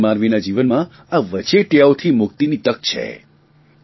સામાન્ય માનવીના જીવનમાં આ વચેટીયાઓથી મુક્તિની તક છે